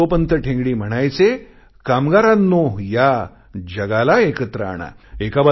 आणि दत्तोपंत ठेंगडी म्हणायचे कामगारांनो या जगाला एकत्र आणा